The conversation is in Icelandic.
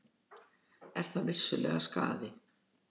Er það vissulega skaði.